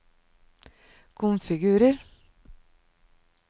konfigurer